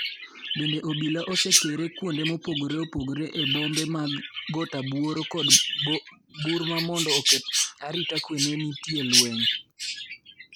Bende obila osekere kuonde mopogore opogore e bombe mag Gotrabuor kod Burma mondo oket arita kue ka nitie lweny.